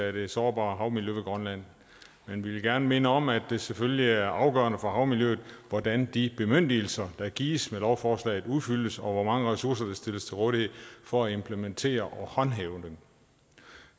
af det sårbare havmiljø ved grønland men vi vil gerne minde om at det selvfølgelig er afgørende for havmiljøet hvordan de bemyndigelser der gives med lovforslaget udfyldes og hvor mange ressourcer der stilles til rådighed for at implementere og håndhæve dem